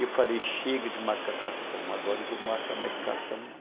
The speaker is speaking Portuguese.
E eu falei, chega de marcar cartão, agora não vou marcar mais cartão não.